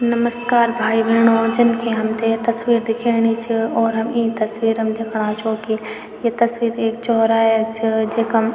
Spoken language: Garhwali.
नमस्कार भाई-भेणाे जन की हमथे य तस्वीर दिखेणी च और हम ई तस्वीर म दिखणा छों की ये तस्वीर एक चौराहा क च जखम --